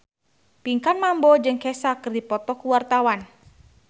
Pinkan Mambo jeung Kesha keur dipoto ku wartawan